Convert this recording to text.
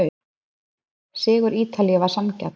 Sigur Ítalíu var sanngjarn.